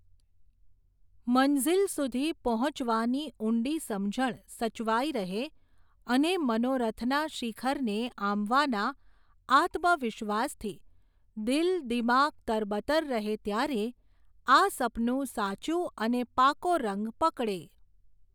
મંઝિલ સુધી પહોંચવાની ઊંડી સમજણ સચવાઈ રહે, અને મનોરથના શિખરને આંબવાના આત્મવિશ્વાસથી, દિલ દિમાગ તરબતર રહે ત્યારે, આ સપનું સાચુ અને પાકો રંગ પકડે.